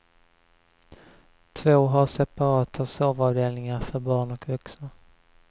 Två har separata sovavdelningar för barn och vuxna.